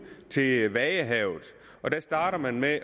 til vadehavet her starter man med